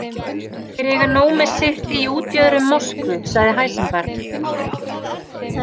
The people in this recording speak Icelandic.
Þeir eiga nóg með sitt í útjöðrum Moskvu, sagði Heisenberg.